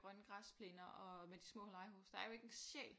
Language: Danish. Grønne græsplæner og med de små legehuse der er jo ikke en sjæl